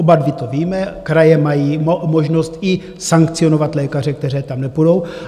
Oba dva to víme, kraje mají možnost i sankcionovat lékaře, kteří tam nepůjdou.